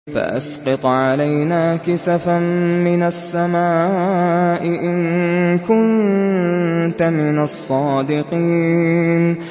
فَأَسْقِطْ عَلَيْنَا كِسَفًا مِّنَ السَّمَاءِ إِن كُنتَ مِنَ الصَّادِقِينَ